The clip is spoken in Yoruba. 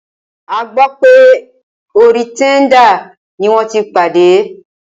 A gbọ́ wípé orí Tinder ní wọ́n tí pàdé.